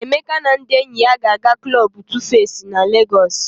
Emeka na ndị enyi ya ga-aga klọb Tufesi na Legọs.